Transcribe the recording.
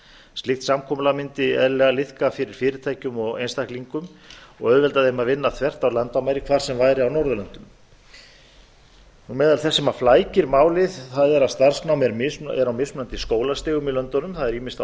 slíkt samkomulag mundi eðlilega liðka fyrir fyrirtækjum og einstaklingum og auðvelda þeim að vinna þvert á landamæri hvar sem er á norðurlöndum meðal þess sem flækir málið er að starfsnám er á mismunandi skólastigum í löndunum það er ýmist á